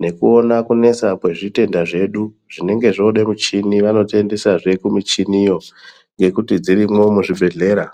nekuone kunesa kwezvitenda zvedu. Zvinenge zvoide michini vanotiendesazve kumuchiniyo ngekuti dzirimwo muzvibhedhlera.